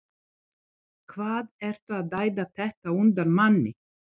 HVAÐ ERTU AÐ ÆÐA ÞETTA Á UNDAN MANNI!